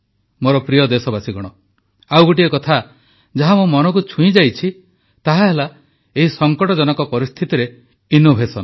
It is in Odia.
ମୋର ପ୍ରିୟ ଦେଶବାସୀଗଣ ଆଉ ଗୋଟିଏ କଥା ଯାହା ମୋ ମନକୁ ଛୁଇଁଯାଇଛି ତାହାହେଲା ଏହି ସଂକଟଜନକ ପରିସ୍ଥିତିରେ ନବୋନ୍ମେଷ